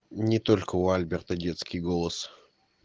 не только у альберта детский голос